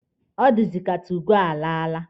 Ọ dịzị ka 2goo alaala.